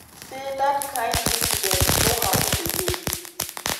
say dat kain incidents no happun again".